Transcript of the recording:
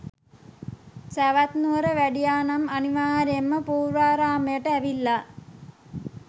සැවැත්නුවර වැඩියා නම් අනිවාර්යෙන්ම පූර්වාරාමයට ඇවිල්ලා